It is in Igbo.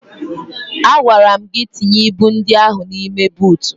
Agwara m gị tinye ibu ndị ahụ n'ime buutu!